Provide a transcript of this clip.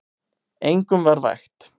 Engum var vægt.